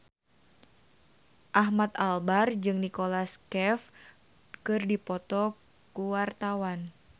Ahmad Albar jeung Nicholas Cafe keur dipoto ku wartawan